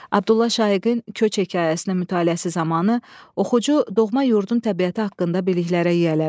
Abdulla Şaiqin köç hekayəsinin mütaliəsi zamanı oxucu doğma yurdun təbiəti haqqında biliklərə yiyələnir.